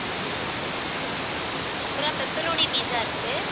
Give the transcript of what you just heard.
அப்புறம் pepperoni pizza இருக்கு.